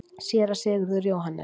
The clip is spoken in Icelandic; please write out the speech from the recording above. SÉRA SIGURÐUR: Jóhannes?